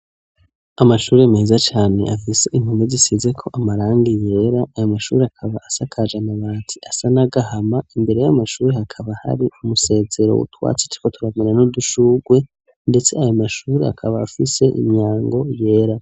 Amashure meza cane, afise impome zisizeko amarangi yera; ayo mashure akaba asakaje amabati asa n'agahama, imbere y'amashure, hakaba hari umusezero w'utwatsi turiko turamera, n'udushurwe; ndetse ayo mashure, akaba afise imyango yera.